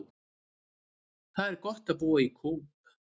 Það er gott að búa í Kóp.